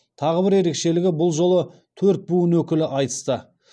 тағы бір ерекшелігі бұл жолы төрт буын өкілі айтысты